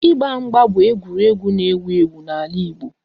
Ịgba mgba bụ egwuregwu n'ewu ewu n'ala Igbo